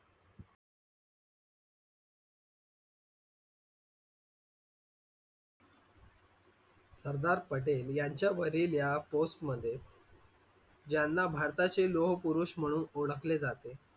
सरदार पटेल यांच्या मधील या post मध्ये याना भारताचे लोहपुरुष म्हणून ओळखले जाते.